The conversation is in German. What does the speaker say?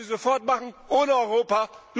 Das können sie sofort machen, ohne Europa.